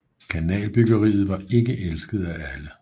Kanalbyggeriet var ikke elsket af alle